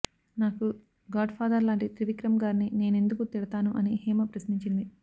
నాకు godfather లాంటి త్రివిక్రమ్ గారిని నేనెందుకు తిడతాను అని హేమ ప్రశ్నించింది